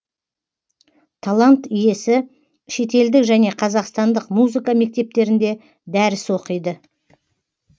талант иесі шетелдік және қазақстандық музыка мектептерінде дәріс оқиды